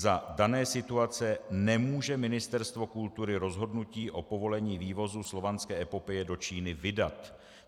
Za dané situace nemůže Ministerstvo kultury rozhodnutí o povolení vývozu Slovanské epopeje do Číny vydat.